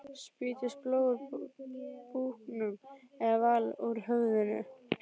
Spýttist blóð úr búknum en vall úr höfðinu.